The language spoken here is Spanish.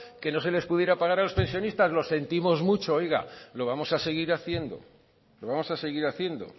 que no se les pudiera pagar a los pensionistas lo sentimos mucho oiga lo vamos a seguir haciendo lo vamos a seguir haciendo